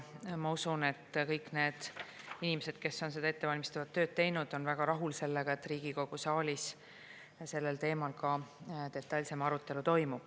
Ma usun, et kõik need inimesed, kes on ettevalmistavat tööd teinud, on väga rahul sellega, et Riigikogu saalis sellel teemal ka detailsem arutelu toimub.